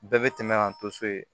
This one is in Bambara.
Bɛɛ bɛ tɛmɛ ka to so yen